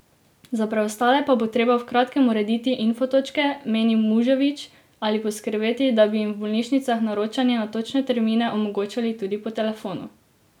Za preostale pa bo treba v kratkem urediti infotočke, meni Muževič, ali poskrbeti, da bi jim v bolnišnicah naročanje na točne termine omogočali tudi po telefonu.